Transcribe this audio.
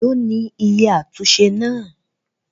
Èlò ni iye àtúnṣe náà?